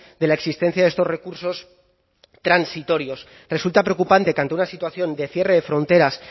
de la existencia de estos recursos transitorios resulta preocupante que ante una situación de cierre de fronteras